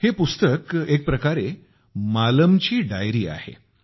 हे पुस्तक एक प्रकारे मालमची डायरी आहे